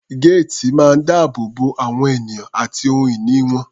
Géètì máa ń dáàbò bo àwọn ènìyàn àti ohun ìní wọn.